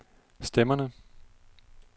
stemmerne